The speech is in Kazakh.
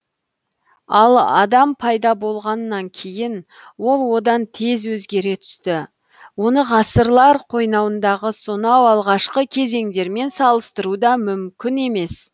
ал адам пайда болғаннан кейін ол одан тез өзгере түсті оны ғасырлар қойнауындағы сонау алғашқы кезеңдермен салыстыру да мүмкін емес